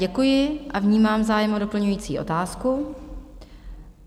Děkuji a vnímám zájem o doplňující otázku.